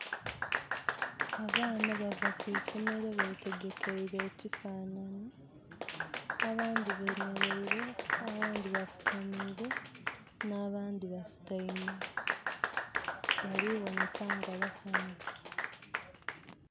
Abaana bava ku isomero betegekeile ekifanhanhi. Abandhi bemeleire, abandhi bafukamiire, n'abandhi basutaime. Bali boneka nga basanhufu.